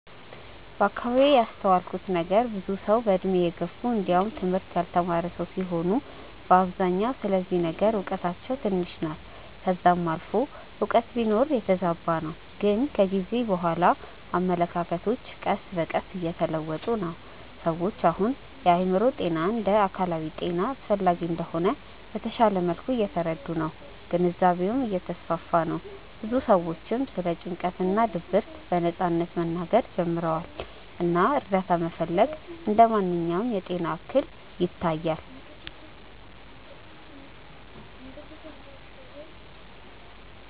ከአከባቢዬ ያስተዋልኩት ነገር ብዙ ሰዉ በእድሜ የገፉ እንዲውም ትምህርት ያልተማረ ሰዉ ሲሆኑ በአብዛኛው ስለዚህ ነገር እውቀታቸው ትንሽ ናት ከዛም አልፎ ያላቸውም እውቀት ቢኖር የተዛባ ነው ግን ከጊዜ በኋላ አመለካከቶች ቀስ በቀስ እየተለወጡ ነው። ሰዎች አሁን የአእምሮ ጤና እንደ አካላዊ ጤና አስፈላጊ እንደሆነ በተሻለ መልኩ እየተረዱ ነው ግንዛቤውም እየተስፋፋ ነው ብዙ ሰዎችም ስለ ጭንቀት እና ድብርት በነጻነት መናገር ጀምረዋል እና እርዳታ መፈለግ እንደ ማንኛውም የጤና እክል ይታያል።